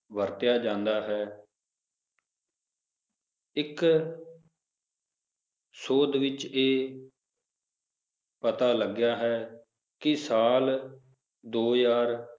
ਵਰਤਿਆ ਜਾਂਦਾ ਹੈ ਇੱਕ ਸੋਧ ਵਿਚ ਇਹ ਪਤਾ ਲਗਿਆ ਹੈ ਕੀ, ਸਾਲ ਦੋ ਹਜ਼ਾਰ